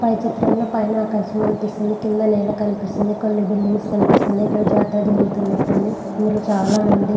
పై చిత్రం లో పైన అక్షం కనిపిస్తుంది. కింద నెల కనిపిస్తుంది. కొన్ని బిల్డింగ్స్ కనిపిస్తుంది. జాతరర జరుగుతున్నట్టు ఉంది.